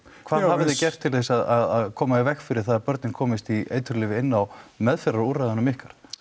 hvað hafið þið gert til þess að koma í veg fyrir það að börnin komist í eiturlyf inni á meðferðarúrræðunum ykkar